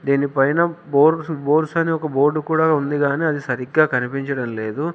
దీని పైన బోర్స్ బోర్స్ అని ఒక బోర్డు కూడా ఉంది కానీ అది సరిగ్గా కనిపించడం లేదు.